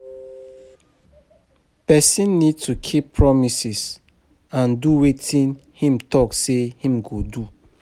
Person need to keep promises and do wetin im talk sey im go do